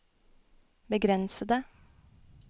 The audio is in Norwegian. begrensede